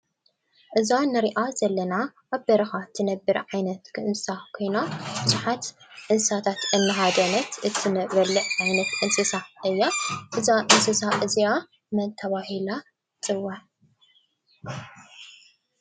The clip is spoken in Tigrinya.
እዛ እንሪኣ ዘለና ኣብ በረኻ ትነብር ዓይነት እንስሳ ኮይና ብዙሓት እንስሳታት እናሃደነት እትበልዕ ዓይነት እንስሳ እያ፡፡ እዛ እንስሳ እዚኣ መን ተባሂላ ትፅዋዕ?